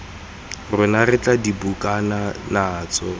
rona re tla dubakana natso